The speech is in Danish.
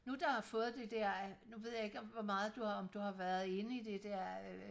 nu der har fået det der nu ved jeg ikke om hvor meget om du har været inde i det der øh